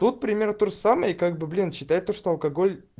тут пример тот же самый и как бы блин считай то что алкоголь